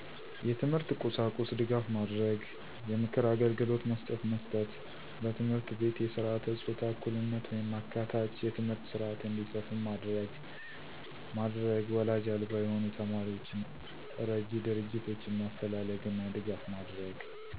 የትምህርት ቁሳቁስ ድጋፍ ማድረግ። የምክር አግልግሎት መስጠት መስጠት። በትምህርት ቤት የስረዓተ ፆታ እኩልነት ወይም አካታች የትምህርት ስረዐት እንዲሰፍን ማድረግ ማድረግ ወላጅ አልባ የሆኑ ተማሪዎችን እረጅ ድርጆቶችን ማፈላለግና ድጋፍ ማድረግ